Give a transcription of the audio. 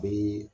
Bi